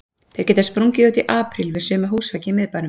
Þeir geta sprungið út í apríl við suma húsveggi í miðbænum.